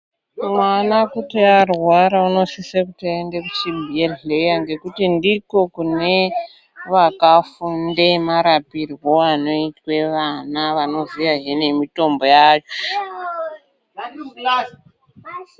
Mwana kuti. arwara unosise kuti aende kuchibhedhleya ngekuti ndiko kune vakafunde marapirwo anoitwe vana vanoziyahe nemitombo yacho.